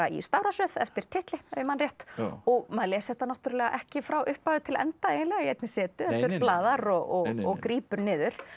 í stafrófsröð eftir titli ef ég man rétt og maður les þetta náttúrulega ekki frá upphafi til enda í einni setu heldur blaðar og og grípur niður